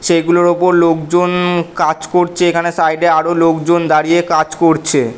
সেইগুলোর ওপর লোকজন উম কাজ করছে এখানে সাইড এ আরো লোকজন দাঁড়িয়ে কাজ করছে।